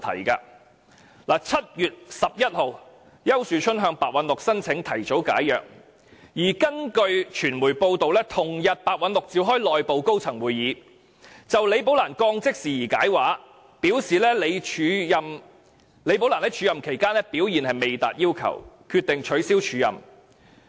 丘樹春在7月11日向白韞六申請提早解約，而根據傳媒報道，白韞六於同日召開內部高層會議，就李寶蘭被降職事件作出解釋，表示她在署任期間表現未達要求，決定取消署任安排。